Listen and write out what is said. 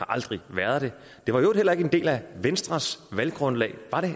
aldrig været det det var i øvrigt heller ikke en del af venstres valggrundlag var det